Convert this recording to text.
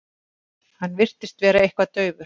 Hann virtist vera eitthvað daufur.